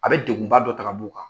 A bɛ dengunba dɔ tagabu' kan